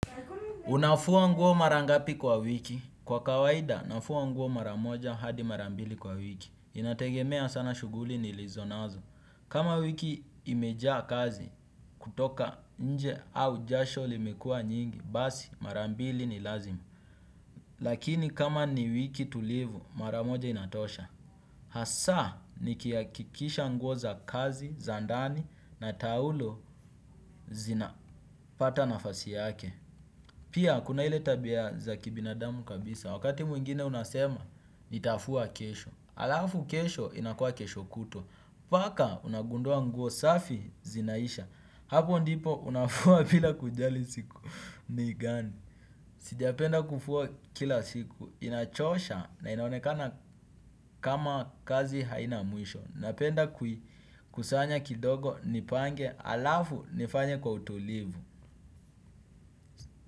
Unafua nguo mara ngapi kwa wiki. Kwa kawaida, nafua nguo maramoja hadi mara mbili kwa wiki. Inategemea sana shuguli nilizonazo. Kama wiki imejaa kazi, kutoka nje au jasho limekua nyingi, basi mara mbili ni lazima. Lakini kama ni wiki tulivu, maramoja inatosha. Hasa, nikiakikisha nguo za kazi, za ndani na taulo zinapata nafasi yake. Pia kuna ile tabia za kibinadamu kabisa, wakati mwingine unasema, nitafua kesho. Alafu kesho inakuwa kesho kutwa, paka unagundua nguo safi zinaisha. Hapo ndipo unafua bila kujali siku ni gani. Sijapenda kufua kila siku, inachosha na inaonekana kama kazi haina mwisho. Napenda kuikusanya kidogo, nipange, alafu nifanye kwa utulivu.